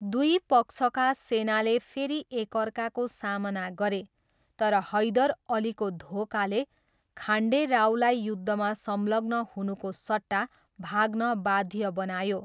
दुई पक्षका सेनाले फेरि एकअर्काको सामना गरे, तर हैदर अलीको धोखाले खान्डे रावलाई युद्धमा संलग्न हुनुको सट्टा भाग्न बाध्य बनायो।